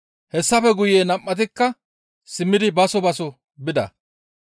Hessafe guye nam7atikka simmidi baso baso bida.